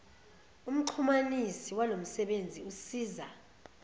umxhumanisi walomsebenzi usiza